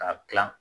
K'a dilan